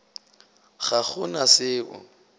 ga go na se o